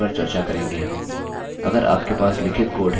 अगर आपके पास लिखित कोड है तो आपको if statementस्टेट्मेन्ट कि जानकारी होगी